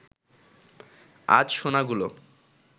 আজ সোনাগুলো